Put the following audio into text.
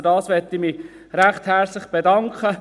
Dafür möchte ich mich recht herzlich bedanken.